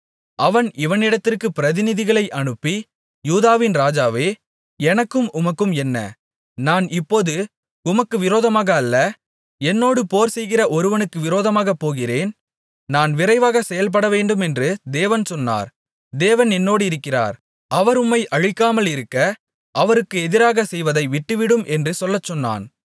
அவன் இவனிடத்திற்கு பிரதிநிதிகளை அனுப்பி யூதாவின் ராஜாவே எனக்கும் உமக்கும் என்ன நான் இப்போது உமக்கு விரோதமாக அல்ல என்னோடு போர்செய்கிற ஒருவனுக்கு விரோதமாகப் போகிறேன் நான் விரைவாக செயல்படவேண்டுமென்று தேவன் சொன்னார் தேவன் என்னோடிருக்கிறார் அவர் உம்மை அழிக்காமலிருக்க அவருக்கு எதிராகச் செய்வதை விட்டுவிடும் என்று சொல்லச்சொன்னான்